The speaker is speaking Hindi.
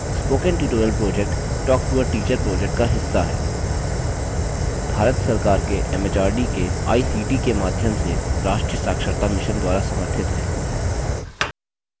spoken tutorial project talktoateacher project का हिस्सा है भारत सरकार के एमएचआरडी के आईसीटी के माध्यम से राष्ट्रीय साक्षरता mission द्वारा समर्थित है